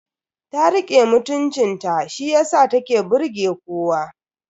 Ta rike mutuncin ta shiyasa ta ke burge kowa.